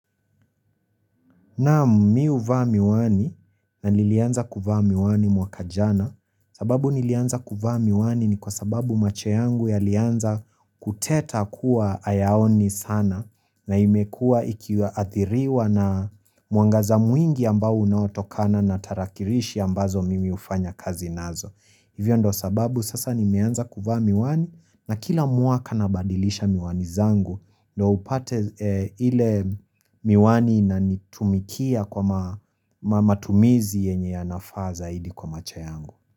Na mi huvaa miwani na nilianza kuvaa miwani mwaka jana sababu nilianza kuvaa miwani ni kwa sababu macho yangu yalianza kuteta kuwa hayaoni sana na imekuwa ikiathiriwa na mwangaza mwingi ambao unaotokana na tarakilishi ambazo mimi hufanya kazi nazo. Hivyo ndio sababu sasa nimeanza kuvaa miwani na kila mwaka nabadilisha miwani zangu ndio upate ile miwani inanitumikia kwa matumizi yenye yanafaa zaidi kwa macho yangu.